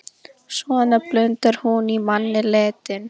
Svona blundar hún í manni letin.